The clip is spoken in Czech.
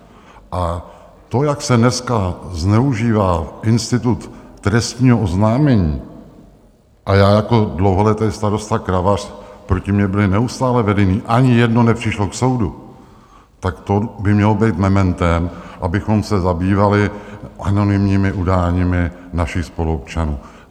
A to, jak se dneska zneužívá institut trestního oznámení, a já jako dlouholetý starosta Kravař, proti mně byla neustále vedena, ani jedno nepřišlo k soudu, tak to by mělo být mementem, abychom se zabývali anonymními udáními našich spoluobčanů.